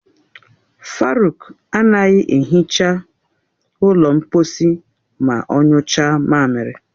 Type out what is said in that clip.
Faruk anaghị ehicha ụlọ mkposi ma ọ nyụcha mamiri.